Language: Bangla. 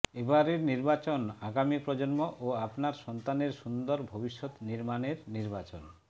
এবারের নির্বাচন আগামী প্রজন্ম ও আপনার সন্তানের সুন্দর ভবিষ্যত নির্মাণের নির্বাচন